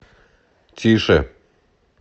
тише